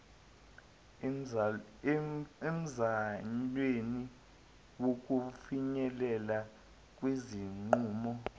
emzamweni wokufinyelela kwizinqumo